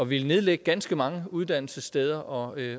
ville nedlægge ganske mange uddannelsessteder og